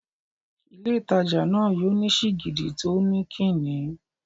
Ilé ìtajà náà yóò ní sìgìdì tó ń kí ni.